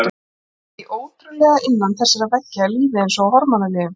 Því ótrúlegra að innan þessara veggja er lífið eins og á hormónalyfjum.